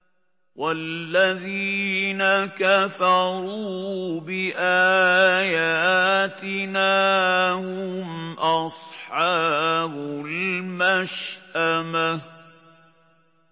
وَالَّذِينَ كَفَرُوا بِآيَاتِنَا هُمْ أَصْحَابُ الْمَشْأَمَةِ